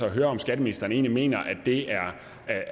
at høre om skatteministeren egentlig mener